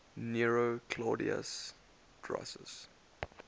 nero claudius drusus